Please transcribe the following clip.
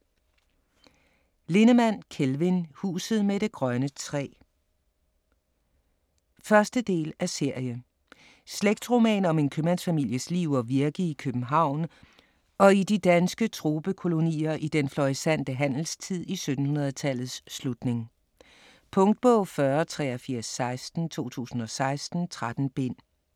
Lindemann, Kelvin: Huset med det grønne træ 1. del af serie. Slægtsroman om en købmandsfamilies liv og virke i København og i de danske tropekolonier i den florissante handelstid i 1700-tallets slutning. . Punktbog 408316 2016. 13 bind.